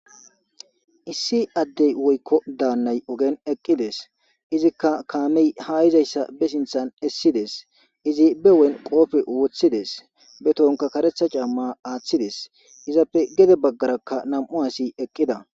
Issi addey woykko daannay ogen eqqides izikka kaamey hayizayssa be sinthan essides izi be wen qoofe wothides be tonka karetha camma aaththides izappe gede baggarakka nam7u asi eqqida.